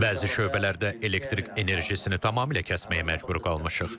Bəzi şöbələrdə elektrik enerjisini tamamilə kəsməyə məcbur qalmışıq.